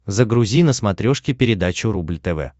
загрузи на смотрешке передачу рубль тв